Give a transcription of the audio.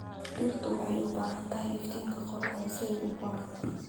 Dhirtu waxay u baahan tahay iftiinka qoraxda si ay u koraan.